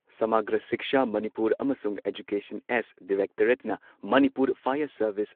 ꯁꯃꯥꯒ꯭ꯔꯥ ꯁꯤꯛꯁꯥ ꯃꯅꯤꯄꯨꯔ ꯑꯃꯁꯨꯡ ꯑꯦꯖꯨꯀꯦꯁꯟ ꯑꯦꯁ ꯗꯤꯔꯦꯛꯇꯣꯔꯦꯠꯅ ꯃꯅꯤꯄꯨꯔ ꯐꯥꯌꯔ ꯁꯔꯚꯤꯁ